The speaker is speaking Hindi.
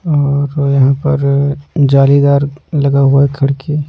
और ओ यहाँ पर जालीदार लगा हुआ है खड़की --